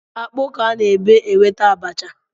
Akpu ka a na-ebe, enweta abacha